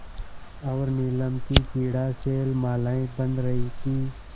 और नीलम की क्रीड़ा शैलमालाएँ बन रही थीं